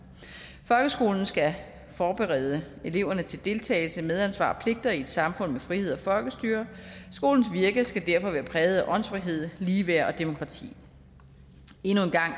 folkeskolen skal forberede eleverne til deltagelse medansvar og pligter i et samfund med frihed og folkestyre skolens virke skal derfor være præget af åndsfrihed ligeværd og demokrati endnu en gang